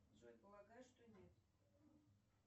джой полагаю что нет